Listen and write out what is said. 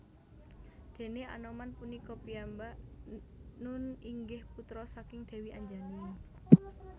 Déné Anoman punika piyambak nun inggih putra saking Dèwi Anjani